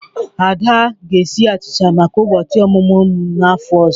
Ada ga-esi achicha maka ụbọchị ọmụmụ m n'afọ ọzọ.